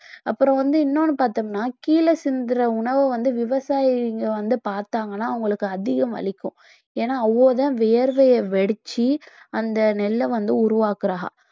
அப்புறம் வந்து இன்னொன்னு பார்த்தோம்னா கீழே சிந்துற உணவை வந்து விவசாயிங்க வந்து பார்த்தாங்கன்னா அவங்களுக்கு அதிகம் வலிக்கும் ஏன்னா அவங்கதான் வியர்வையை வடிச்சு அந்த நெல்லை வந்து உருவாக்குறாக